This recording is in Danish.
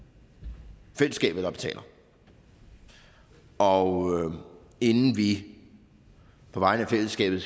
fællesskabet der betaler og inden vi på vegne af fællesskabet